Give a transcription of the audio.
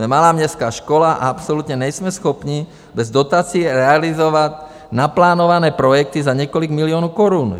Jsme malá městská škola a absolutně nejsme schopni bez dotací realizovat naplánované projekty za několik milionů korun.